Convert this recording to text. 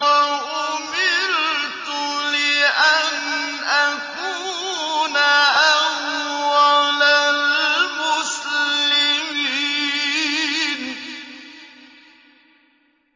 وَأُمِرْتُ لِأَنْ أَكُونَ أَوَّلَ الْمُسْلِمِينَ